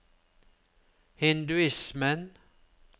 hinduismen